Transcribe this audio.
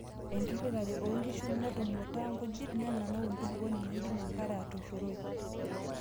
Enkiritare oo nkishu metumuta nkujit, nenanau enkulupuoni neidim enkare atoshoroi.